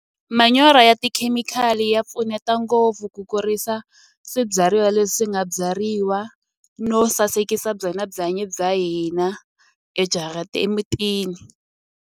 Manyoro ya tikhemikhali ya pfuneta ngopfu ku kurisa swibyariwa leswi nga byariwa no sasekisa byona byanyi bya hina emutini.